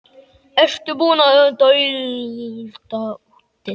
Ertu búinn að dælda húddið?